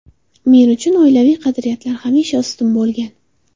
Men uchun oilaviy qadriyatlar hamisha ustun bo‘lgan.